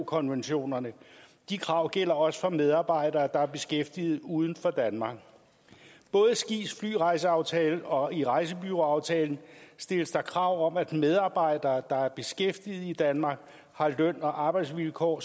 konventionerne de krav gælder også for medarbejdere der er beskæftiget uden for danmark både i skis flyrejseaftale og i rejsebureauaftalen stilles der krav om at medarbejdere der er beskæftiget i danmark har løn og arbejdsvilkår